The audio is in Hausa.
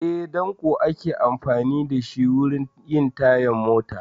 Eh, ɗanko ake amfani da shi wurin yin tayar mota